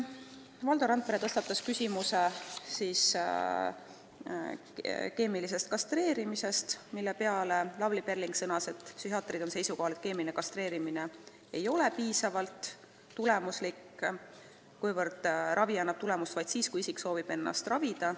Valdo Randpere tõstatas küsimuse keemilisest kastreerimisest, mille peale Lavly Perling sõnas, et psühhiaatrid on seisukohal, et keemiline kastreerimine ei ole piisavalt tulemuslik, kuna ravi annab tulemust vaid siis, kui isik soovib ennast ravida.